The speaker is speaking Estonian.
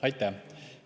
Aitäh!